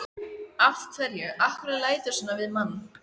Af hverju. af hverju læturðu svona við mann?